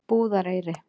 Búðareyri